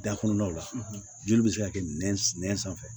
Da kɔnɔnaw la joli bɛ se ka kɛ nɛn sanfɛ